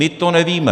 My to nevíme.